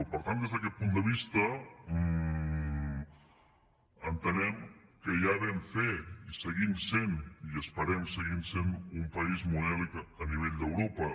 per tant des d’aquest punt de vista entenem que ja vam fer i seguim sent i esperem seguir sent un país modèlic a nivell d’europa